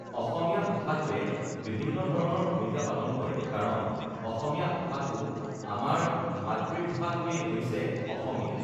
অসমীয়া ভাষাটোৱে বিভিন্ন ধৰণৰ ভূমিকা পালন কৰে কাৰণ অসমীয়া ভাষাটো আমাৰ মাতৃভাষাটোৱেই হৈছে অসমীয়া